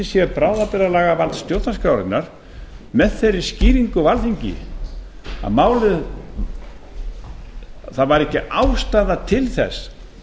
sér bráðabirgðalagavald stjórnarskrárinnar með þeirri skýringu á alþingi að það væri ekki ástæða til þess